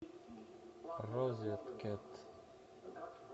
розеткед